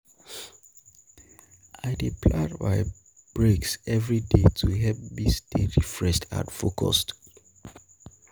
I dey plan my breaks every day to help me stay refreshed and focused.